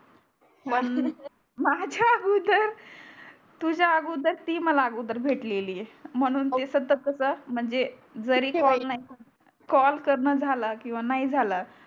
माझ्या अगोदर तुझा अगोदर ती मला अगोदर भेटलेली आहे म्हणून ती तर कस म्हणजे जरी कॉल ठीक आहे कॉल करण झाला किवा नाही झाला